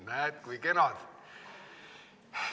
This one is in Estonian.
Näed, kui kenad.